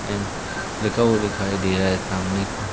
and लिखा हुआ दिखाई दे रहा है सामने को--